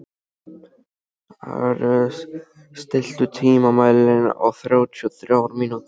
Ares, stilltu tímamælinn á þrjátíu og þrjár mínútur.